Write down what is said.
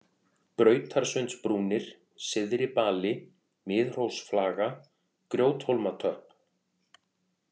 Brautarsundsbrúnir, Syðri-Bali, Miðhrósflaga, Grjóthólmatöpp